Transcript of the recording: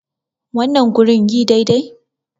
wannan gurin yi dai dai?